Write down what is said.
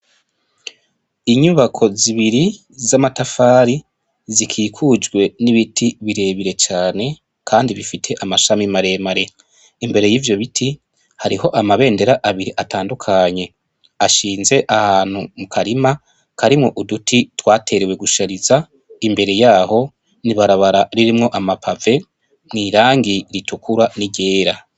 inyubako zibiri z'amatafari zikikukjwe n'ibiti birebire kandi bifise amashami maremare, imbere y'ivyo biti hariho amabendera abiri atandukanye ashinze ahantu mukarima karimwo uduti twaterewe gushariza, imbere yaho n'ibarabara ririmwo amapave mw'irangi ritukura niryera.